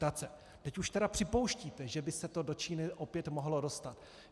Teď už tedy připouštíte, že by se to do Číny opět mohlo dostat.